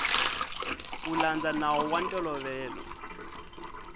ku landza nawu wa ntolovelo